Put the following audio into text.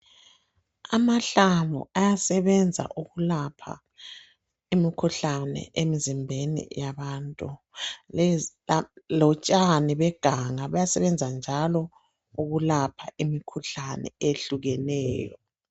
Amahlamvu ayabasebenza ukulapha imikhuhlane emzimbeni yabantu . Lotshani beganga buyasebenza njalo ukulapha imikhuhlane eyehlukeneyo.